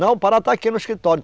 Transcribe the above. Não, o Pará está aqui no escritório.